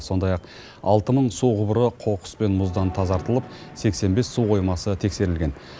сондай ақ алты мың су құбыры қоқыс пен мұздан тазартылып сексен бес су қоймасы тексерілген